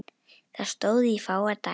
Það stóð í fáa daga.